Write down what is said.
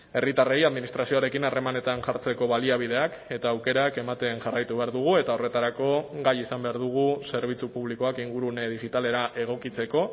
herritarrei administrazioarekin harremanetan jartzeko baliabideak eta aukerak ematen jarraitu behar dugu eta horretarako gai izan behar dugu zerbitzu publikoak ingurune digitalera egokitzeko